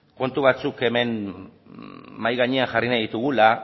kontu batzuk mahai gainean jarri nahi ditugula